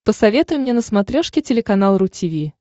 посоветуй мне на смотрешке телеканал ру ти ви